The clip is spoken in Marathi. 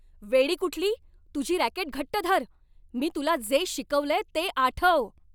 वेडी कुठली. तुझी रॅकेट घट्ट धर. मी तुला जे शिकवलंय ते आठव.